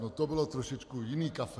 No to bylo trošičku jiný kafe.